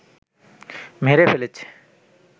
মেরে ফেলেছে